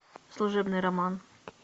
служебный роман